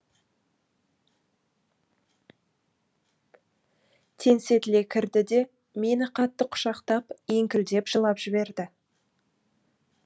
теңсетіле кірді де мені қатты құшақтап еңкілдеп жылап жіберді